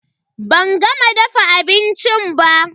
Ban gama dafa abincin ba.